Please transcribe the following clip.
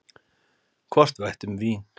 Hvort við ættum vín?